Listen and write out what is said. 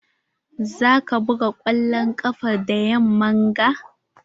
Za ka buga kwallon ƙafa da yamman ga?